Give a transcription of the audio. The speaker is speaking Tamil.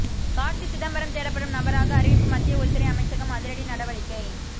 கார்த்தி சிதம்பரம் தேடப்படும் நபராக அறிவிப்பு மத்திய உள்துறை அமைச்சகம் அதிரடி நடவடிக்கை